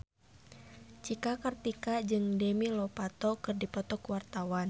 Cika Kartika jeung Demi Lovato keur dipoto ku wartawan